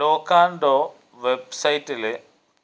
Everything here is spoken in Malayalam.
ലൊക്കാന്റോ വെബ്സൈറ്റില്